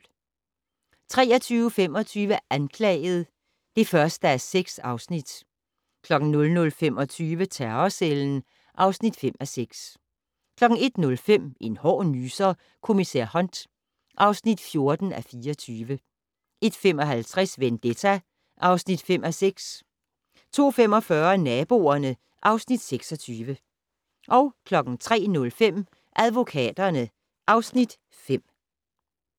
23:25: Anklaget (1:6) 00:25: Terrorcellen (5:6) 01:05: En hård nyser: Kommissær Hunt (14:24) 01:55: Vendetta (5:6) 02:45: Naboerne (Afs. 26) 03:05: Advokaterne (Afs. 5)